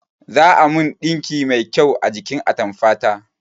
Za a min ɗinki mai kyau a jikin atamfa ta